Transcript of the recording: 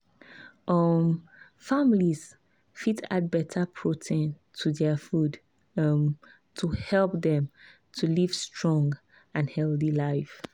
um families fit add better protein to their food um to help dem to live strong and healthy life.